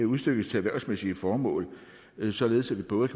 udstykkes til erhvervsmæssige formål således at vi både